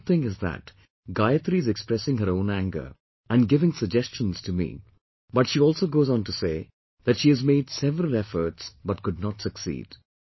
The good thing is that Gayatri is expressing her own anger, and giving suggestions to me, but she also goes on to say, that she has made several efforts but could not succeed